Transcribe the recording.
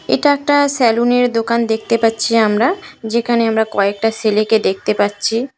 এটা একটা স্যালুন দেখতে পাচ্ছি আমরা যেকানে আমরা কয়েকটা সেলেকে দেখতে পাচ্চি। - এর দোকান